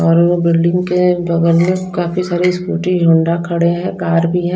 और वो बिल्डिंग के बगल में काफी सारी स्कूटी होंडा खड़े हैं कार भी हैं।